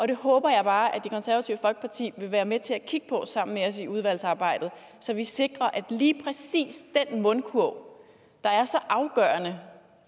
det håber jeg bare at det konservative folkeparti vil være med til at kigge på sammen med os i udvalgsarbejdet så vi sikrer at lige præcis den mundkurv der er så afgørende